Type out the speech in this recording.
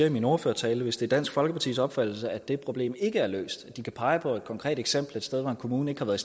i min ordførertale at hvis det er dansk folkepartis opfattelse at det problem ikke er løst at de kan pege på et konkret eksempel et sted hvor en kommune ikke har været